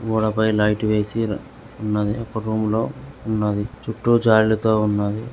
గోడపై లైట్ వేసి ఉన్నది. ఒక రూంలో ఉన్నది. చుట్టూ జాలిలితో ఉన్నది.